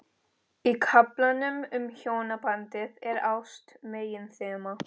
Í kaflanum um hjónabandið er ást meginþema.